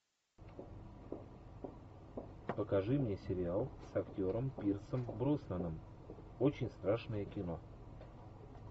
покажи мне сериал с актером пирсом броснаном очень страшное кино